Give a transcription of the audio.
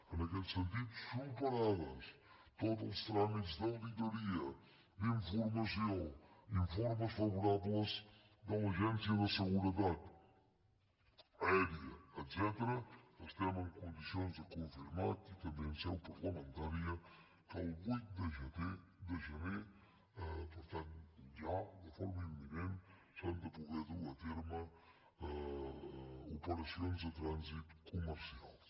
en aquest sentit superats tots els tràmits d’auditoria d’informació informes favorables de l’agència de seguretat aèria etcètera estem en condicions de confirmar aquí també en seu parlamentària que el vuit de gener per tant ja de forma imminent s’han de poder dur a terme operacions de trànsit comercials